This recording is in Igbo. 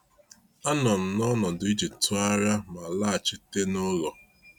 A nọ m n’ọnọdụ iji tụgharịa ma laghachite n’ụlọ.